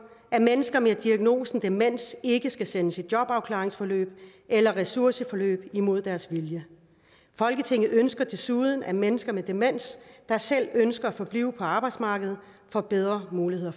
at mennesker med diagnosen demens ikke skal sendes i jobafklaringsforløb eller ressourceforløb imod deres vilje folketinget ønsker desuden at mennesker med demens der selv ønsker at forblive på arbejdsmarkedet får bedre muligheder